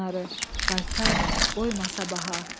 qaytar, qoyma sabaha.